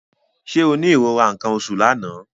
Ṣé o ní ìrora nǹkan oṣù l'àná?